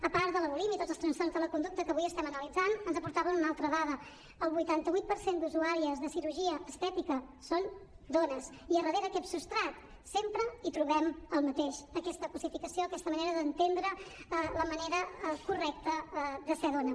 a part de la bulímia i tots els trastorns de la conducta que avui estem analitzant ens aportaven una altra dada el vuitanta vuit per cent d’usuàries de cirurgia estètica són dones i darrere d’aquest substrat sempre hi trobem el mateix aquesta cosificació aquesta manera d’entendre la manera correcta de ser dona